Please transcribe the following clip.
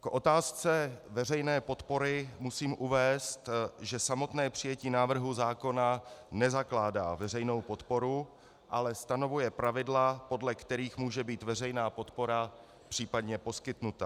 K otázce veřejné podpory musím uvést, že samotné přijetí návrhu zákona nezakládá veřejnou podporu, ale stanovuje pravidla, podle kterých může být veřejná podpora případně poskytnuta.